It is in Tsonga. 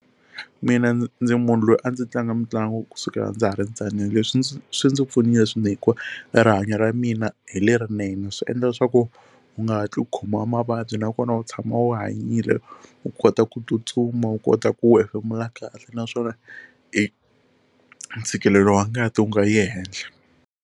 Mina ndzi ndzi munhu loyi a ndzi tlanga mitlangu kusukela ndza ha ri ntsanana leswi ndzi swi ndzi pfunile e rihanyo ra mina hi lerinene swi endla leswaku u nga hatli khomiwa hi mavabyi nakona u tshama u hanyile u kota ku tsutsuma u kota ku hefemula kahle naswona i ntshikelelo wa ngati wu nga yi ehenhla.